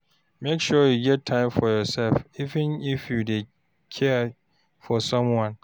Make sure you get time for yoursef, even if you dey care for someone.